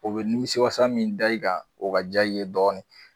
O bɛ nimisiwasa min da i kan o ka diya ye dɔɔnin